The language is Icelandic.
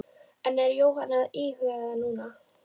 En er Jóhanna að íhuga það núna?